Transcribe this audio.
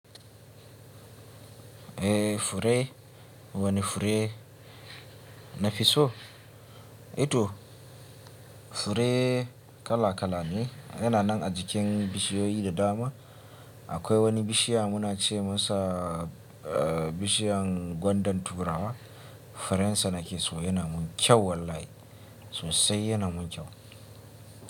Eh fure wani fure nafi so? Ito fure kala kala ne yana nan a jikin bishiyoyi da dama. Akwai wani bishiya muna ce masa bishiyan gwandan turawa. Furensa nake so naya mun kyau wallahi sosai yana mun kyau.